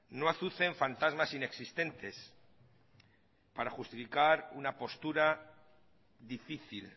no azucen fantasmas inexistentes para justificar una postura difícil